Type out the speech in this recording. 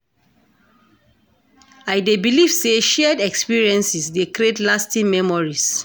I dey believe say shared experiences dey create lasting memories.